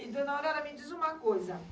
E Dona Aurora, me diz uma coisa.